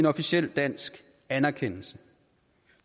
officiel dansk anerkendelse